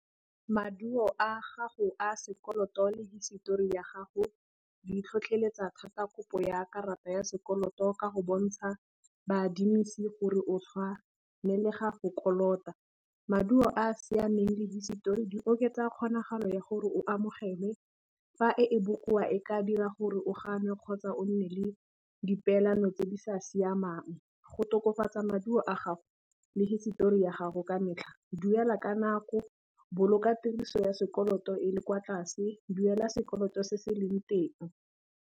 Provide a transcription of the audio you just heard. Maduo a gago a sekoloto le hisetori ya gago di tlhotlheletsa thata kopo ya karata ya sekoloto ka go bontsha baadimisi gore o tshwanelega go kolota. Maduo a a siameng le hisetori di oketsa kgonagalo ya gore o amogelwe fa e e bokoa e ka dira gore o ganwe kgotsa o nne le di peelano tse di sa siamang, go tokafatsa maduo a gago le hisetori ya gago ka metlha duela ka nako, boloka tiriso ya sekoloto e le kwa tlase, duela sekoloto se se leng teng.